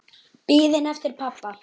Biðin eftir pabba.